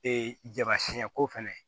Ee jaba siɲɛko fɛnɛ